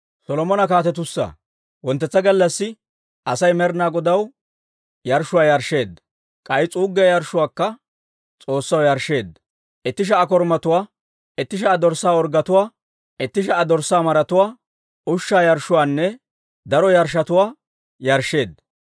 Wonttetsa gallassi Asay Med'inaa Godaw yarshshuwaa yarshsheedda. K'ay s'uuggiyaa yarshshuwaakka S'oossaw yarshsheedda; itti sha"a korumatuwaa, itti sha"a dorssaa orggetuwaa, itti sha"a dorssaa maratuwaa, ushshaa yarshshuwaanne daro yarshshotuwaa yarshsheedda.